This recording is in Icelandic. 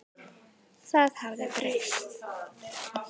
Það hafði breyst.